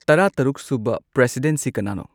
ꯇꯔꯥ ꯇꯔꯨꯛ ꯁꯨꯕ ꯄ꯭ꯔꯦꯁꯤꯗꯦꯟꯠꯁꯤ ꯀꯅꯥꯅꯣ